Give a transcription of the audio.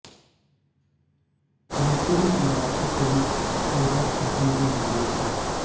ये film Marathi film Sairat का Hindi remake है